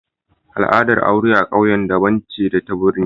Al'adar aure a ƙauye daban ce da ta birni